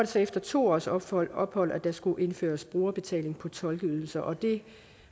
så efter to års ophold ophold at der skulle indføres brugerbetaling på tolkeydelser og det